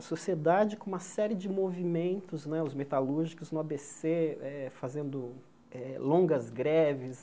A sociedade com uma série de movimentos né, os metalúrgicos, no á bê cê eh, fazendo longas greves.